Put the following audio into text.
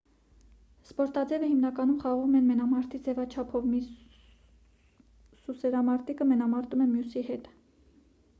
սպորտաձևը հիմնականում խաղում են մենամարտի ձևաչափով մի սուսերամարտիկը մենամարտում է մյուսի հետ